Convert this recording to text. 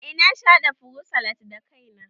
Eh na sha haɗa furut salad da kai na